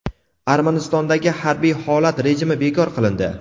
Armanistondagi harbiy holat rejimi bekor qilindi.